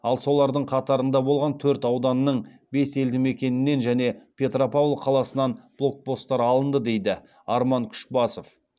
ал солардың қатарында болған төрт ауданның бес елдімекенінен және петропавл қаласынан блокпосттар алынды дейді арман күшбасов